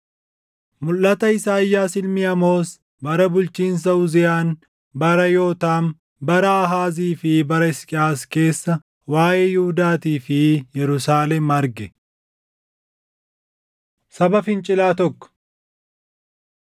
Mulʼata Isaayyaas ilmi Amoos bara bulchiinsa Uziyaan, bara Yootaam, bara Aahaazii fi bara Hisqiyaas keessa waaʼee Yihuudaatii fi Yerusaalem arge. Saba Fincilaa Tokko